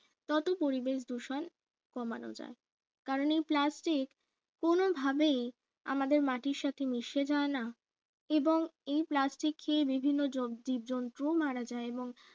ততো পরিবেশ দূষণ কমানো যায় কারণে এই plastic কোন ভাবেই আমাদের মাটির সাথে মিশে যায় না এবং এই plastic খেয়ে বিভিন্ন জবজীবজন্তু মারা যায় এবং